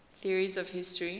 theories of history